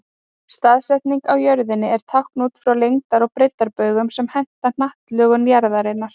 Staðsetning á jörðunni er táknuð út frá lengdar- og breiddarbaugum sem henta hnattlögun jarðarinnar.